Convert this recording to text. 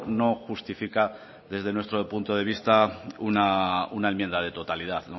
no justifica desde nuestro punto de vista una enmienda de totalidad